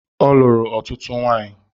Ọ lụrụ ọtụtụ nwanyi